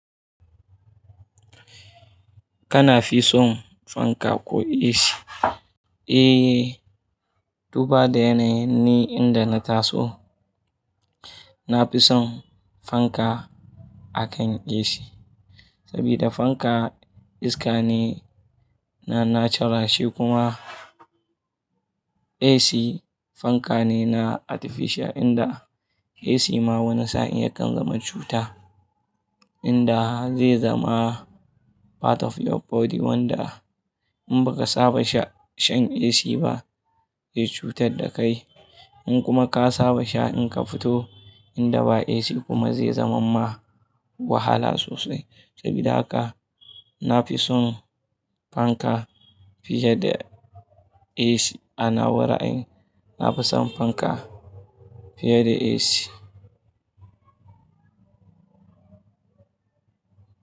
Kana fi son fanka ko AC? Eh, duba da yanayi ne inda na taso. Na fi son fanka akan AC. Sabida fanka iska ne na na charal kuma AC fanka ne na artificial inda AC ma wani sa'in yakan zama cuta. Inda zai zama part of your body wanda in baka saba sha shan AC ba zai cutar da kai. In kuma ka saba sha in ka fito inda ba AC kuma zai zama ma wahala sosai. Sabida haka na fi son fanka fiye da AC a nawa raayin na fi son fanka fiye da AC.